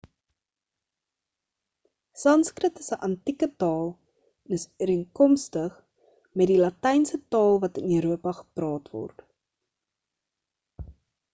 sanskrit is 'n antieke taal en is ooreenkomstig met die latynse taal wat in europa gepraat word